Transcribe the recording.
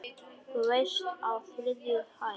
Þú veist- á þriðju hæð.